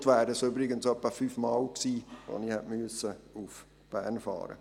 Heute hätte ich übrigens fast fünfmal nach Bern fahren müssen.